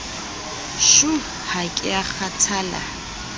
shuu ha ke a kgathala